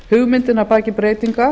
hugmyndin að baki breytinga